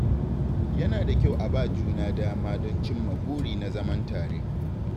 Yana da kyau a ba juna dama don cimma buri na zaman tare.